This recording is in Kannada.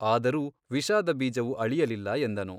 ಆದರೂ ವಿಷಾದ ಬೀಜವು ಅಳಿಯಲಿಲ್ಲ ಎಂದನು.